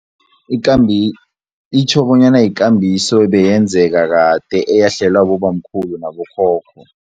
Itjho bonyana yikambiso ebeyenzeka kade eyahlelwa bobamkhulu nabokhokho.